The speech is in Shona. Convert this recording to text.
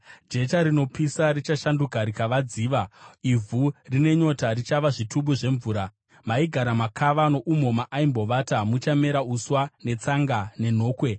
Jecha rinopisa richashanduka rikava dziva, ivhu rine nyota richava zvitubu zvemvura. Maigara makava noumo maaimbovata, muchamera uswa, netsanga nenhokwe.